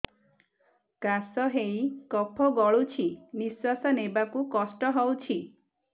କାଶ ହେଇ କଫ ଗଳୁଛି ନିଶ୍ୱାସ ନେବାକୁ କଷ୍ଟ ହଉଛି